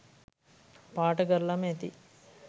පාට කරලම ඇති